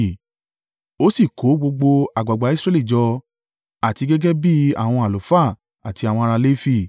Ó sì kó gbogbo àgbàgbà Israẹli jọ, àti gẹ́gẹ́ bí àwọn àlùfáà àti àwọn ará Lefi.